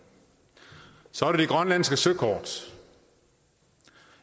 så er der det grønlandske søkort